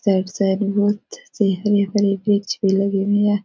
Side side में बहुत-सी हरी-भरी वृक्ष भी लगी हुई है।